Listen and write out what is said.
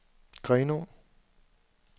Grenaa